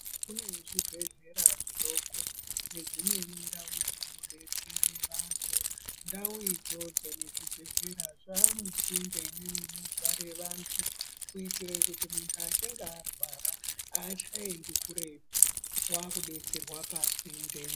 Kune zvibhedhlera zvidoko nedzimweni ndau dzinodetsere vanthu, ndau idzodzo nezvibhedhlera zvaamusinde nemunogare vanthu kuitire kuti munthu echinge arwara aachaendi kuretu waakudetserwa pasinde.